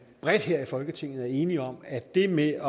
bredt her i folketinget er enige om at det med